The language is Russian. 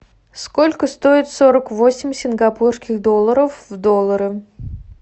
сколько стоит сорок восемь сингапурских долларов в долларах